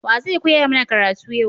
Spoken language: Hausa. Wa zai koya mana karatu yau?